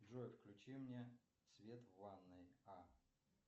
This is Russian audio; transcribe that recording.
джой включи мне свет в ванной а